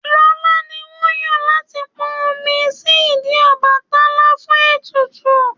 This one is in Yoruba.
Lọlá ni wọ́n yàn láti pọn omi sí ìdí Ọbàtálá fún ètùtù.